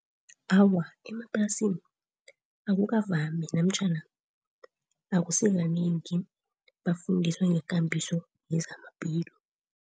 Awa, emaplasini akukavami namtjhana akusikanengi bafundiswe ngekambiso yezamaphilo.